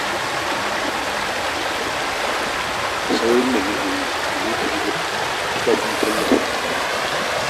Saurin me kike yi? ki zo ki cike fom ɗin tallafin karatu